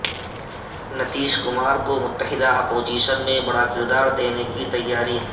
نتیش کمار کو متحدہ اپوزیشن میں بڑا کردار دینے کی تیاری